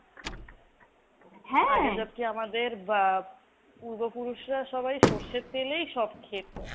আমাদের বা পূর্বপুরুষরা সবাই সর্ষের তেল এই সব খেতো।